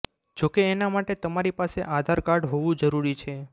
જોકે એના માટે તમારી પાસે આધાર કાર્ડ હોવું જરૂરી છે